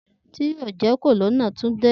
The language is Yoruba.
Ti yoo jẹ Colonel Tunde